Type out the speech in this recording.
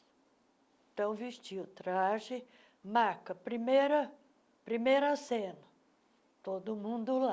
Então, vestia o traje, marca, primeira primeira cena, todo mundo lá.